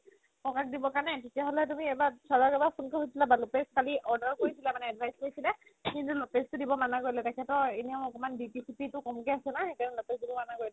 ককা দিব কাৰণে তেতিয়া হ'লে তুমি এবাৰ sir ৰ ক এবাৰ phone কৰি সুধি ল'বা ‌‌‌ কালি order কৰিছিলে মানে advice খোজিছিলে কিন্তু তো দিব মানা কৰিলে তেখেতৰ এনেও একমান BP চিপি ক'মকে আছে ন সেইকাৰণে দিব মানা কৰিলে